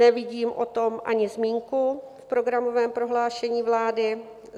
Nevidím o tom ani zmínku v programovém prohlášení vlády.